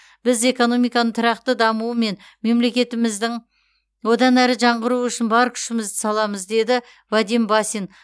біз экономиканың тұрақты дамуы мен мемлекетіміздің одан әрі жаңғыруы үшін бар күшімізді саламыз деді вадим басин